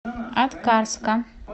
аткарска